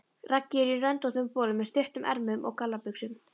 Raggi er í röndóttum bol með stuttum ermum og gallabuxum.